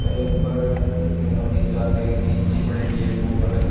ए ऊपर एक ओ निचे आगे एक झील सी बनेड़ी है बिंगै ऊपर --